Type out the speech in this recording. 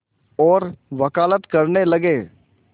और वक़ालत करने लगे